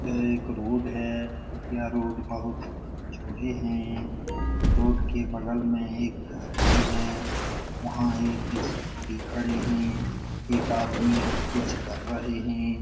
यह एक रोड है यह रोड बहुत चौड़े हैं रोड के बगल में एक घर भी है वहाँ एक स्कूटी खड़े हैं एक आदमी कुछ कर रहे हैं।